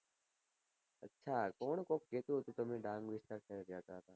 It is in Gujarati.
અચ્છા તો હું કહું કીઘુ હતું કે તમે ગામ વિસ્તાર સાઈડ રહેતા તા